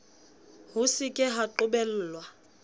ho se ka ha qobellwa